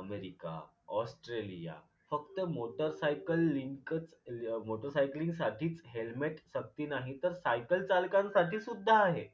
America Australia फक्त मोटरसायकलइनकच motorcycling साठी helmet सक्ती नाही तर सायकल चालकांसाठी सुद्धा आहे